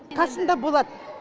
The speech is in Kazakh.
қасымда болады